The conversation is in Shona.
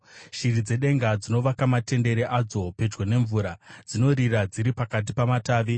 Shiri dzedenga dzinovaka matendere adzo pedyo nemvura; dzinorira dziri pakati pamatavi.